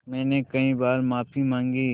मैंने कई बार माफ़ी माँगी